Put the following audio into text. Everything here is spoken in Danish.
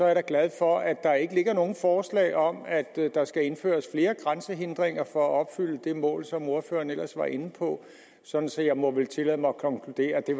er da glad for at der ikke ligger nogen forslag om at der skal indføres flere grænsehindringer for at opfylde det mål som ordføreren ellers var inde på så så jeg må vel kunne tillade mig at konkludere at det